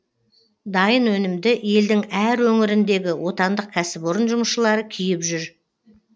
дайын өнімді елдің әр өңіріндегі отандық кәсіпорын жұмысшылары киіп жүр